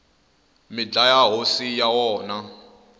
mi dlaya hosi ya wona